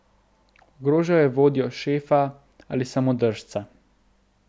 Ogrožal je vodjo, šefa ali samodržca.